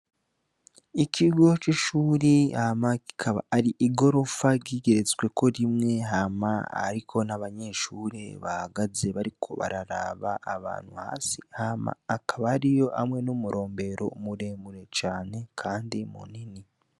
Ikigo c’ishure hama kikaba ari igorofa igeretsweko rimwe, hama ariko n’abanyeshure bahagaze bariko bararaba abantu hasi hama akaba ariyo hamwe n’umurombero muremure cane kandi munini.